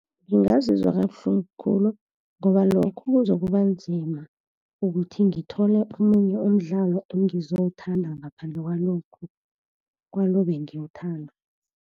Ngingazizwa kabuhlungu khulu, ngoba lokho kuzokuba nzima ukuthi ngithole omunye umdlalo engizowuthanda ngaphandle kwalo ebengiwuthanda.